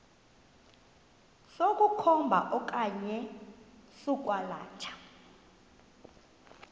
sokukhomba okanye sokwalatha